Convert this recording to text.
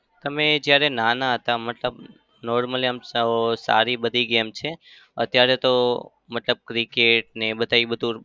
તમે જ્યારે નાનાં હતા મતલબ normally આમ સાવ સારી બધી game છે અત્યારે તો. મતલબ cricket ને એ બધા એ બધું